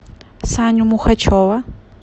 саню мухачева